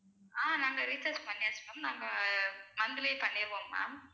அஹ் நாங்க recharge பண்ணியாச்சு ma'am நாங்க monthly பண்ணிருவோம் ma'am